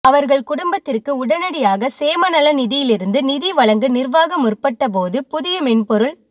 அவர்கள் குடும்பத்திற்கு உடனடியாக சேமநலநிதியிலிருந்து நிதி வழங்க நிர்வாகம் முற்பட்ட போது புதிய மென்பொருள்